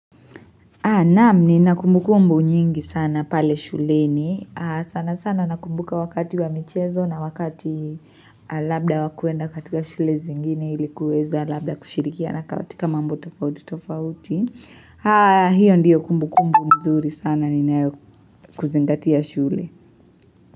Naam nina kumbu kumbu nyingi sana pale shuleni. Sanasana nakumbuka wakati wa michezo na wakati labda wakuenda katika shule zingine ili kuweza labda kushirikiana katika mambo tofauti tofauti. Hiyo ndiyo kumbu kumbu mzuri sana ninayo kuzingatia shule.